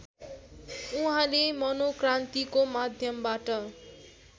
उहाँले मनोक्रान्तिको माध्यमबाट